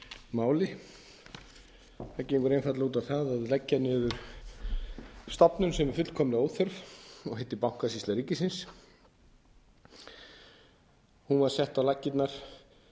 máli það gengur einfaldlega út á það að leggja niður stofnun sem er fullkomlega óþörf og heitir bankasýsla ríkisins hún var sett á laggirnar